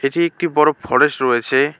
চে একটি বড় ফরেস্ট রয়েছে।